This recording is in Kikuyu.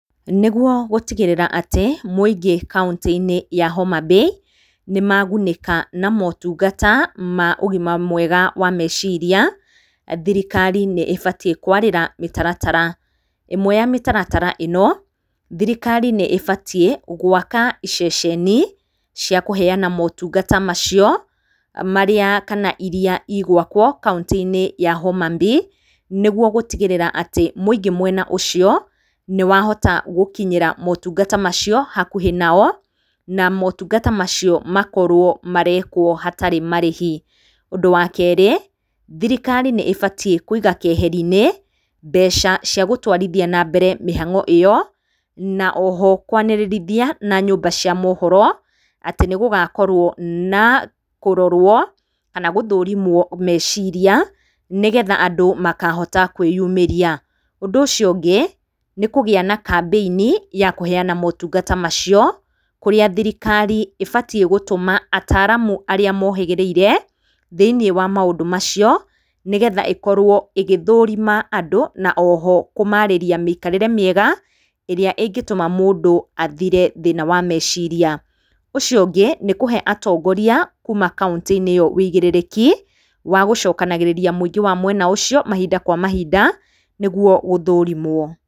Nĩguo gũtigĩrĩra atĩ mũingĩ kauntĩ-inĩ ya Homabay nĩ magunĩka na motũngata ma ũgima mwega wa mecirĩa thirikari nĩ ĩbatiĩ kwarĩra mĩtaratara, ĩmwe ya mĩtaratara ĩno thirikari nĩ ĩbatĩi gwaka ceceni cia kũheana motungata macio, marĩa kana irĩa igwakwo kauntĩ-inĩ ya Homabay, nĩgũo gũtigĩrĩra atĩ mũingĩ mwena ũcio nĩ wahota gũkinyĩra motũngata macio hakũhĩ nao na motũngata macio makorwo marekwo hatarĩ marĩhi. Ũndũ wa kerĩ, thirikari nĩ ĩbatiĩ kũiga keheri-inĩ mbeca cia gũtwarithia na mbere mĩhango iyo na oho kwanĩrĩrithia na nyũmba cia mohoro atĩ nĩ gũgakorwo na kũrorwo kana gũthũrimwo meciria, nĩ getha andũ makahota kwĩyumĩria. Ũndũ ũcio ũngĩ nĩ kũgia na kambĩinĩ ya kũheana motũngata macio, kũria thirikari ĩbatiĩ gũtũma ataaramũ arĩa mohĩgĩrĩire thĩiniĩ wa maũndũ macio, nĩgetha ĩkorwo ĩgĩthũrima andũ na oho kũmarĩria mĩikarĩre mĩega ĩrĩa ĩngĩtũma mũndũ athĩre thĩna wa mecirĩa. Ũcio ũngĩ nĩ kũhe atongoria kuuma kaunti-inĩ ĩyo ũigĩrĩrĩki wa gũcokanagĩrĩria mũingĩ wa mwena ũcio mahinda kwa mahinda nĩguo gũthũrimwo.